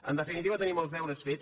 en definitiva tenim els deures fets